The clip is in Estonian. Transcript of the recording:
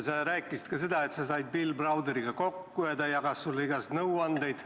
Sa rääkisid ka seda, et said Bill Browderiga kokku ja ta jagas sulle igasuguseid nõuandeid.